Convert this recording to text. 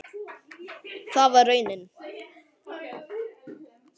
Það varð raunin.